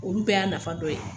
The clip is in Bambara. Olu bɛɛ y'a nafa dɔ ye.